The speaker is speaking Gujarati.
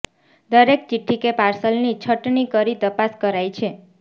દરેક ચિઠ્ઠી કે પાર્સલની છટની કરી તપાસ કરાય છે